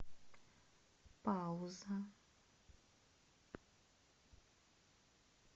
пауза